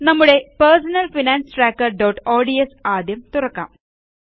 നമ്മുടെpersonal finance trackerഓഡ്സ് ആദ്യം തുറക്കാം